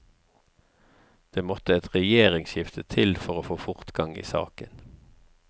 Det måtte et regjeringsskifte til for å få fortgang i saken.